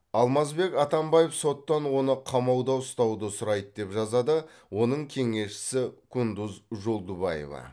алмазбек атамбаев соттан оны қамауда ұстауды сұрайды деп жазады оның кеңесшісі кундуз жолдубаева